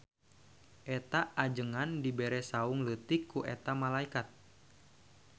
Eta ajengan dibere saung leutik ku eta malaikat.